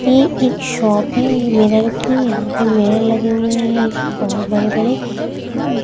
ये एक शॉप है मिरर की यहां पे मिरर लगे हुए हैं बहुत बड़े बड़े ।